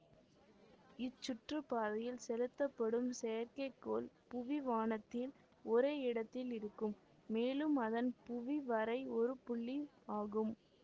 இச்சுற்றுப்பாதையில் செலுத்தப்படும் செயற்கைக்கோள் புவிவானத்தில் ஒரே இடத்தில் இருக்கும் மேலும் அதன் புவி வரை ஒரு புள்ளி ஆகும்